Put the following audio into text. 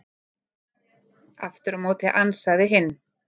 Aftur á móti ansaði hinn: